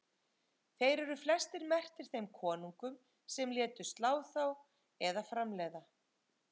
Þeir eru flestir merktir þeim konungum sem létu slá þá eða framleiða.